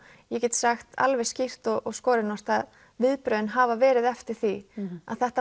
ég get sagt alveg skýrt og skorinort að viðbrögðin hafa verið eftir því að þetta